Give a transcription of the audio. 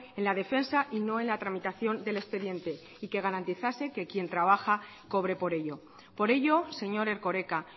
en la defensa y no en la tramitación del expediente y que garantizase que quien trabaja cobre por ello por ello señor erkoreka